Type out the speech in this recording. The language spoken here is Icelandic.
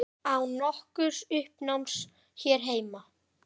Án nokkurs uppnáms hér heima.